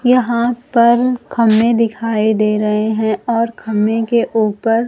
यहां पर खंबे दिखाई दे रहे हैं और खंबे के ऊपर--